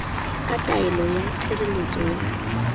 ka taelo ya tshireletso ya